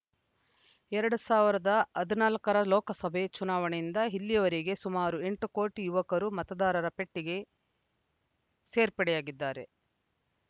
ಎರಡ್ ಸಾವಿರದ ಹದಿನಾಲ್ಕರ ಲೋಕಸಭೆ ಚುನಾವಣೆಯಿಂದ ಇಲ್ಲಿವರೆಗೆ ಸುಮಾರು ಎಂಟು ಕೋಟಿ ಯುವಕರು ಮತದಾರರ ಪಟ್ಟಿಗೆ ಸೇರ್ಪಡೆಯಾಗಿದ್ದಾರೆ